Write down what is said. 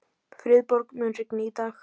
Friðborg, mun rigna í dag?